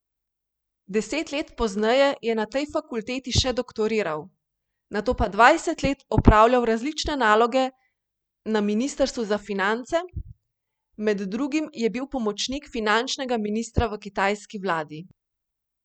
Deset let pozneje je na tej fakulteti še doktoriral, nato pa dvajset let opravljal različne naloge na ministrstvu za finance, med drugim je bil pomočnik finančnega ministra v kitajski vladi.